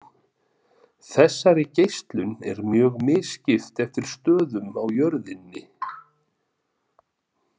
Þessari geislun er mjög misskipt eftir stöðum á jörðinni.